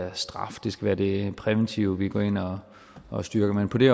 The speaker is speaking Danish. af straf det skal være det præventive vi går ind og og styrker men på det